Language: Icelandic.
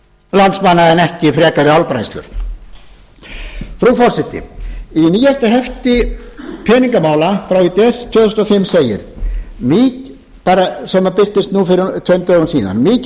landsmanna en ekki frekari álbræðslur frú forseti í nýjasta hefti peningamála frá í desember tvö þúsund og fimm segir og birtist nú fyrir tveimur dögum síðan mikið